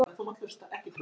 Hún kallar á eftir honum.